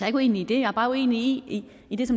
ikke uenig i det jeg er bare uenig i det